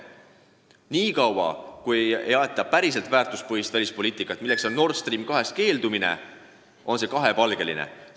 Niikaua kui ei aeta päriselt väärtuspõhist välispoliitikat, niikaua kui ei keelduta Nord Stream 2-st, on see kahepalgeline poliitika.